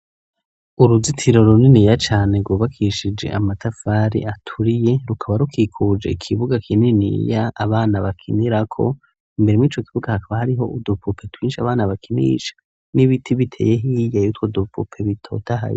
Uruzitiro runiniya cane rwubakishije amatafari aturiye, rukaba rukikuje ikibuga kininiya abana bakinirako, imbere mw'ico kibuga hakaba hariho udupupe twinshi abana bakinisha, n'ibiti biteye hiya yutwo dupupe bitotahaye.